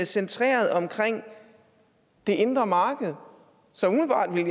centreret omkring det indre marked så umiddelbart ville